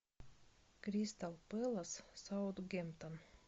кристал пэлас саутгемптон